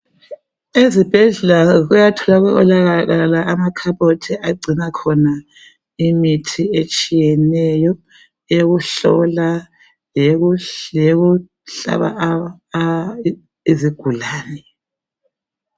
Ezibhedlela kuyatholakala amakhabothi agcina khona imithi etshiyeneyo eyokuhlola leyokuhlaba izigulane.